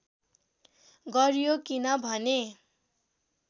गरियो किन भने